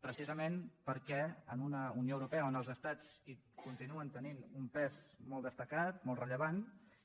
precisament perquè en una unió europea on els estats continuen tenint un pes molt destacat molt rellevant